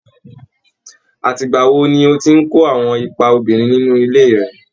Àti ìgbà wo ni o ti ń kó àwọn ipa obìnrin nínú ilé rẹ?